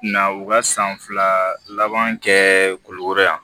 Na u ka san fila laban kɛ kulikoro yan